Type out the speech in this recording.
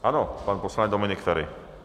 Ano, pan poslanec Dominik Feri.